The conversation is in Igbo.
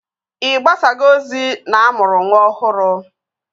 Ị gbasago ozi na-amụrụ nwa ọhụrụ?